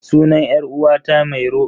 Sunan 'yar uwata mairo.